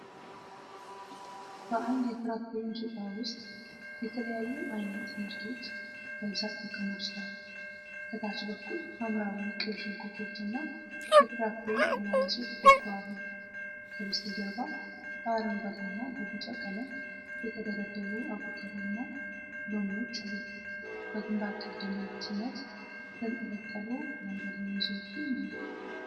በአንድ የፍራፍሬ መሸጫ ውስጥ የተለያየ ዓይነት ምርቶች በብዛት ተከማችተዋል። ከታች በኩል ሐምራዊ ቀይ ሽንኩርቶችና የፍራፍሬ አናናሶች ጎልተው አሉ። ከበስተጀርባ በአረንጓዴና በቢጫ ቀለም የተደረደሩ አቮካዶና ሎሚዎች አሉ። በግንባር ቀደምትነት የተንጠለጠሉ አረንጓዴ ሙዝዎችም አሉ።